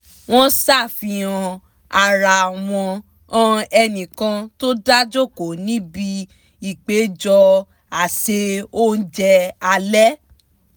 wọ́n ṣàfihàn ara wọn han ẹnì kan tó dá jókòó níbi ìpéjọ àsè oúnjẹ alẹ́